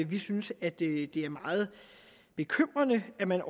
vi synes at det er meget bekymrende at man